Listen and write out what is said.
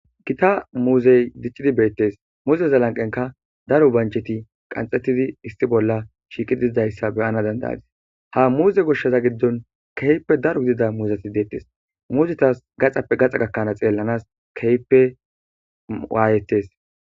Gita muuzey diccidi beettes muuzeza lanqenka daro bancheti qanxettidi issi bolla shiiqi dididayssa beyana dandayazi ha muuze goshsaza giddon keyppe daro gidida muuzeti deettes. muuzetas gaxappe gaxa gakkanaa xeellanas keyppe waayettes.